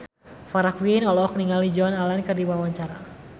Farah Quinn olohok ningali Joan Allen keur diwawancara